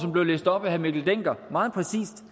blev læst op af herre mikkel dencker meget præcis